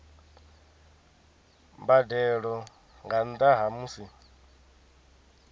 mbadelo nga nnda ha musi